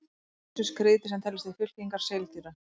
Hin ýmsu skriðdýr sem teljast til fylkingar seildýra.